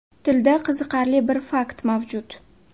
Tilda qiziqarli bir fakt mavjud.